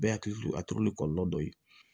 Bɛɛ hakili to a turu ni kɔlɔlɔ dɔ ye